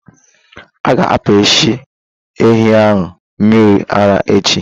Aga apishi ehi ahụ mmiri ara echi.